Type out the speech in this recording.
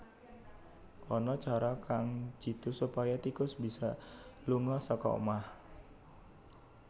Ana cara kang jitu supaya tikus bisa lunga saka omah